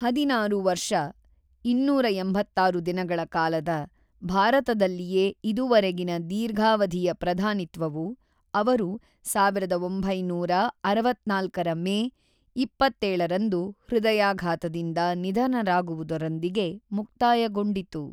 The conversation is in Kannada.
೧೬ ವರ್ಷ,೨೮೬ ದಿನಗಳ ಕಾಲದ, ಭಾರತದಲ್ಲಿಯೇ ಇದುವರೆಗಿನ ದೀರ್ಘಾವಧಿಯ ಪ್ರಧಾನಿತ್ವವು, ಅವರು ೧೯೬೪ರ ಮೇ ೨೭ರಂದು ಹೃದಯಾಘಾತದಿಂದ ನಿಧನರಾಗುವುದರೊಂದಿಗೆ ಮುಕ್ತಾಯಗೊಂಡಿತು.